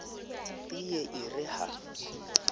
e ye e re ha